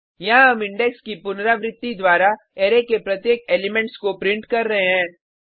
यहाँ हम इंडेक्स की पुनरावृति द्वारा अरै के प्रत्येक एलिमेट्स को प्रिंट कर रहे हैं